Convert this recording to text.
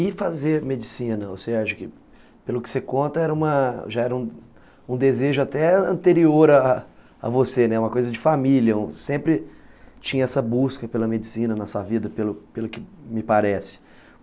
E fazer medicina, você acha que, pelo que você conta, já era um desejo até anterior a a você, uma coisa de família, sempre tinha essa busca pela medicina na sua vida, pelo pelo que me parece.